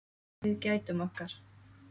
Við gætum okkar.